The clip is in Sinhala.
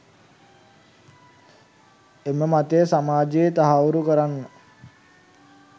එම මතය සමාජයේ තහවුරු කරන්න